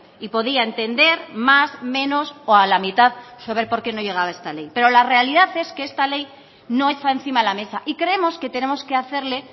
y podía entender más menos o a la mitad sobre por qué no llegaba esta ley pero la realidad es que esta ley no está encima de la mesa y creemos que tenemos que hacerle